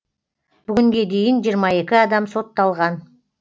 бүгінге дейін жиырма екі адам сотталған